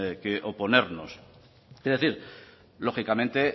que oponernos es decir lógicamente